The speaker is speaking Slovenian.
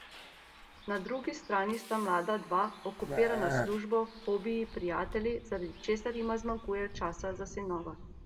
Na drugi strani sta mlada dva, okupirana s službo, hobiji, prijatelji, zaradi česar jima zmanjkuje časa za sinova.